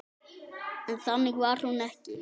En þannig var hún ekki.